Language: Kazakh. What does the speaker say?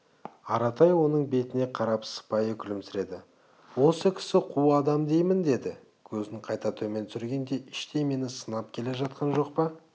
аратай оның бетіне қарап сыпайы күлімсіреді осы кісі қу адам деймін деді көзін қайта төмен түсіргенде іштей мені сынап келе жатқан жоқ па